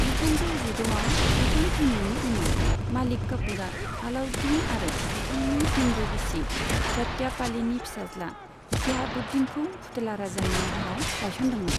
जिथामजौ जिद'आव बिथां थैनायनि उनाव, मालिक काफूरआ आलाउद्दीन आरो बिथांनि हिन्दू बिसि झटयापालीनि फिसाज्ला शिहाबुद्दीनखौ फुथुला राजानि महराव गायसनदोंमोन।